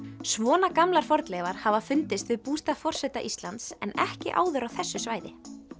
svona gamlar fornleifar hafa fundist við bústað forseta Íslands en ekki áður á þessu svæði